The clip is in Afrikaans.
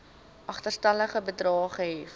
agterstallige bedrae gehef